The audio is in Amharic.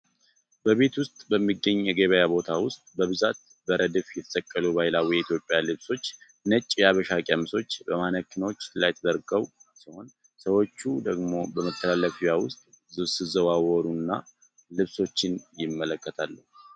በቤት ውስጥ በሚገኝ የገበያ ቦታ ውስጥ በብዛት በረድፍ የተሰቀሉ ባህላዊ የኢትዮጵያ ልብሶች። ነጭ የሐበሻ ቀሚሶች በማኔኪኖች ላይ ተደርገው ሲሆን፣ ሰዎች ደግሞ በመተላለፊያው ውስጥ ሲዘዋወሩ እና ልብሶችን ይመለከታሉ።